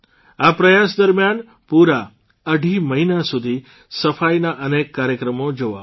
આ પ્રયાસ દરમિયાન પૂરા અઢી મહિના સુધી સફાઇના અનેક કાર્યક્રમો જોવા મળ્યા